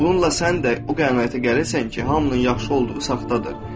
Bununla sən də o qənaətə gəlirsən ki, hamının yaxşı olduğu saxtadır.